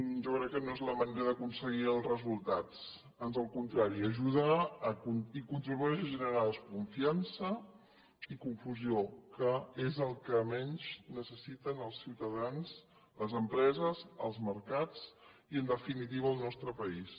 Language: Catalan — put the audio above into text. jo crec que no és la manera d’aconseguir els resultats ans al contrari ajuda i contribueix a generar desconfiança i confusió que és el que menys necessiten els ciutadans les empreses els mercats i en definitiva el nostre país